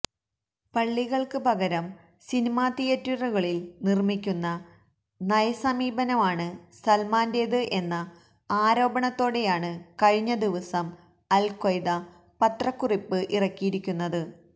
പള്ളികള്ക്ക് പകരം സിനിമാ തിയേറ്ററുകള് നിര്മ്മിക്കുന്ന നയസമീപനമാണ് സല്മാന്റേത് എന്ന ആരോപണത്തോടെയാണ് കഴിഞ്ഞ ദിവസം അല് ക്വയ്ദ പത്രക്കുറിപ്പ് ഇറക്കിയിരിക്കുന്നത്